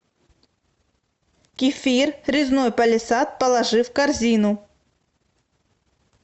кефир резной палисад положи в корзину